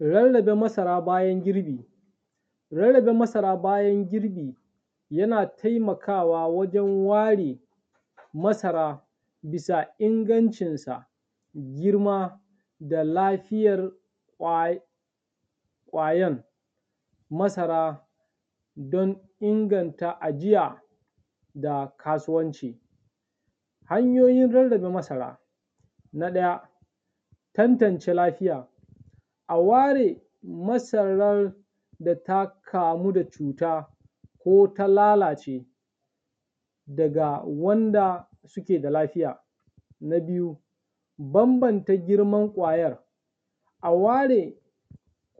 Rarrabe masara bayan girbi. Rarrabe masara bayan girbi yana taimakawa wajen ware masara bisa ingancinsa, girma da lafiyar ƙwa, ƙwayan masara don inganta ajiya da kasuwanci. Hanyoyin rarrabe masara: Na ɗaya, tantance lafiya; a ware masarar da ta kamu da cuta ko ta lalace daga wanda suke da lafiya. Na biyu, bambanta girman ƙwayar; a ware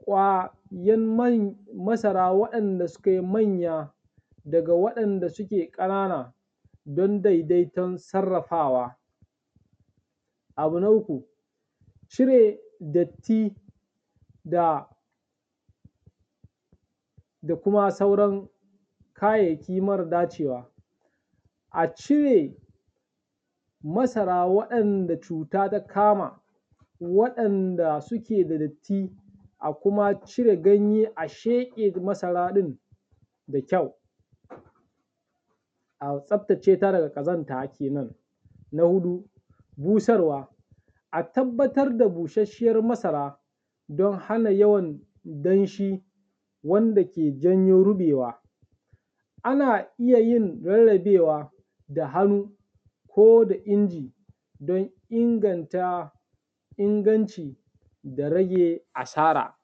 ƙwayan man masara waɗanda suke manya daga waɗanda suke ƙanana don daidaiton sarrafawa. Abu na uku, cire datti da da kuma sauran kayayyaki mara dacewa, a cire masara waɗanda cuta ta kama, waɗanda suke da datti a kuma cire ganye a sheƙe masara ɗin da kyau, a tsaftace ta daga ƙazanta kenan. Na huɗu, busarwa: A tabbatar da busasshen masara don hana yawan danshi wanda ke janyo ruɓewa, ana iya yin rarrabe da hannu ko da inji don inganta inganci da rage asara.